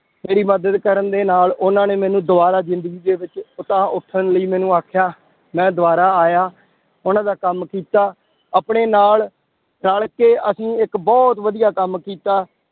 ਮੇਰੀ ਮਦਦ ਕਰਨ ਦੇ ਨਾਲ ਉਹਨਾਂ ਨੇ ਮੈਨੂੰ ਦੁਬਾਰਾ ਜ਼ਿੰਦਗੀ ਦੇ ਵਿੱਚ ਉਤਾਂਹ ਉੱਠਣ ਲਈ ਮੈਨੂੰ ਆਖਿਆ, ਮੈਂ ਦੁਬਾਰਾ ਆਇਆ ਉਹਨਾਂ ਦਾ ਕੰਮ ਕੀਤਾ, ਆਪਣੇ ਨਾਲ ਰਲ ਕੇ ਅਸੀਂ ਇੱਕ ਬਹੁਤ ਵਧੀਆ ਕੰਮ ਕੀਤਾ